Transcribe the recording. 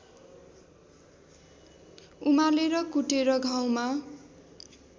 उमालेर कुटेर घाउमा